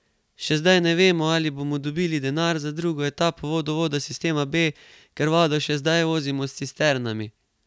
Še zdaj ne vemo, ali bomo dobili denar za drugo etapo vodovoda sistema B, ker vodo še zdaj vozimo s cisternami.